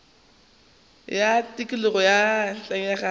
ya tikologo ka ntlenyana ga